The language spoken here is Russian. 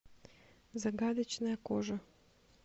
загадочная кожа